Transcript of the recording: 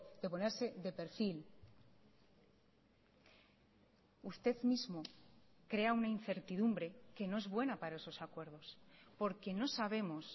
de ponerse de perfil usted mismo crea una incertidumbre que no es buena para esos acuerdos porque no sabemos